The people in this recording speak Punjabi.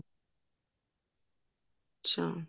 ਅੱਛਾ